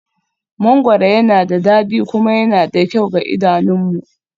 Mangoro yana da dadi kuma yana da kyau ga idanunmu